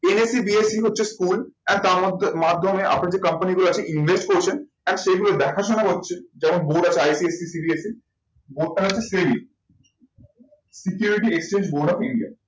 NSE, BSE হচ্ছে school and তার মধ্যে, মাধ্যমে আপনি যে company গুলো আছে invest করছেন and সেগুলো দেখা শোনা করছে যেমন board আছে board টা হচ্ছে security exchange board of India